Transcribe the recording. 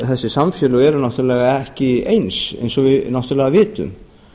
þessi samfélög eru náttúrlega ekki eins eins og við náttúrlega vitum